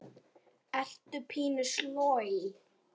Ertu pínu sloj?